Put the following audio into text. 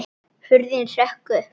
Hurðin hrökk upp!